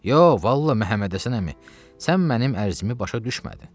Yox, vallah Məhəmməd Həsən əmi, sən mənim ərzimi başa düşmədin.